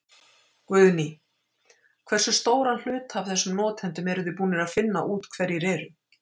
Guðný: Hversu stóran hluta af þessum notendum eruð þið búnir að finna út hverjir eru?